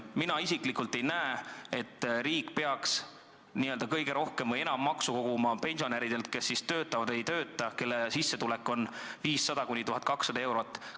Mina isiklikult ei näe, et riik peaks kõige rohkem maksu koguma pensionäridelt, kes töötavad või ei tööta ja kelle sissetulek on 500–1200 eurot.